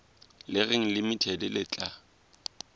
le reng limited le tla